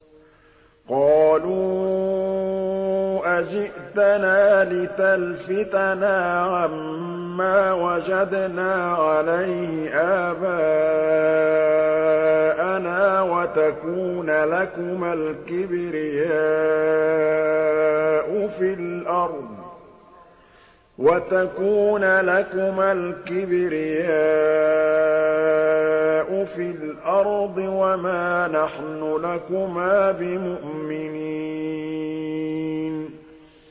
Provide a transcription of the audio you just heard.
قَالُوا أَجِئْتَنَا لِتَلْفِتَنَا عَمَّا وَجَدْنَا عَلَيْهِ آبَاءَنَا وَتَكُونَ لَكُمَا الْكِبْرِيَاءُ فِي الْأَرْضِ وَمَا نَحْنُ لَكُمَا بِمُؤْمِنِينَ